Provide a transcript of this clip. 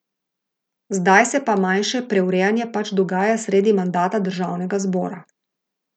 Zdaj se pa manjše preurejanje pač dogaja sredi mandata državnega zbora.